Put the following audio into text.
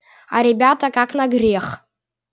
а ребята как на грех